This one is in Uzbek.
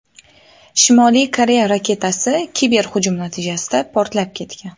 Shimoliy Koreya raketasi kiberhujum natijasida portlab ketgan.